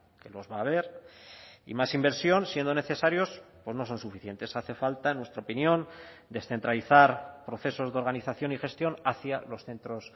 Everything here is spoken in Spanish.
que los va a haber y más inversión siendo necesarios pues no son suficientes hace falta en nuestra opinión descentralizar procesos de organización y gestión hacia los centros